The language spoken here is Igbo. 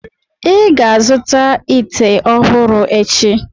ị ga-azụta ite ọhụrụ echi!